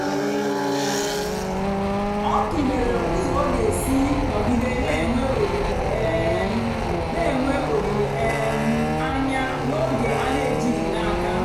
ọ tụ̀lèrè ụ́zọ́ ọ ga-èsì nọ̀gìdè na-ènwé òlìlè um na-ènwé òlìlè um ànyá n'ógè a na-èjìghị́ n'àka.